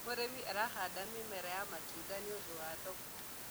mũrĩmi arahanda mĩmera ya matunda nĩũndũ wa thoko